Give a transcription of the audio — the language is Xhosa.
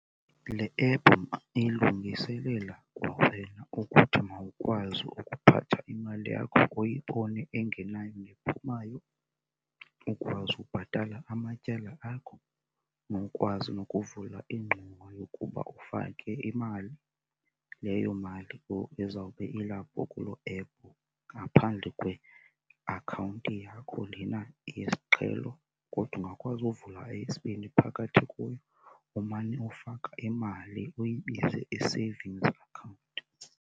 Le ephu, ma, ilungiselela kwawena ukuthi mawukwazi ukuphatha imali yakho, uyibone engenayo nephumayo. Ukwazi ukubhatala amatyala akho nokwazi nokuvula ingxowa yokuba ufake imali leyo mali ezawube ilapho kulo ephu ngaphandle kweakhawunti yakho lena yesiqhelo. Kodwa ungakwazi uvula eyesibini phakathi kuyo umane ufaka imali, uyibize i-savings account.